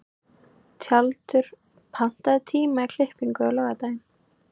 Tjaldur, pantaðu tíma í klippingu á laugardaginn.